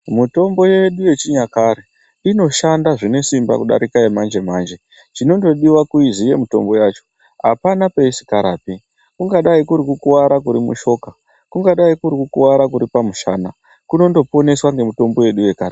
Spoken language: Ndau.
Mitombo yedu yechinyakare inoshanda zvinesimba kudarike yechimanjemanje chinongodiwa kuziya mishonga yacho apana peisingarapi, kungadai kuri kukuwara kuri mushoka kungadai kuri kukuwara kuri pamushana kuno poneswa ngemitombo yedu yechinyakare.